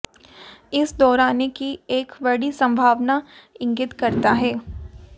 इस दोहराने की एक बड़ी संभावना इंगित करता है